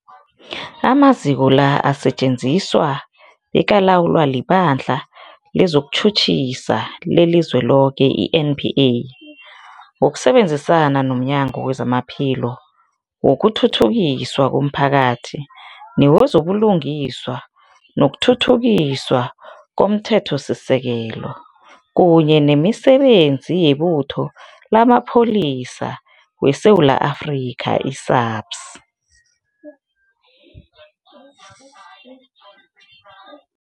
Amaziko la asetjenziswa bekalawulwa liBandla lezokuTjhutjhisa leliZweloke, i-NPA, ngokusebenzisana nomnyango wezamaPhilo, wokuthuthukiswa komphakathi newezo buLungiswa nokuThuthukiswa komThethosisekelo, kunye nemiSebenzi yeButho lamaPholisa weSewula Afrika, i-SAPS.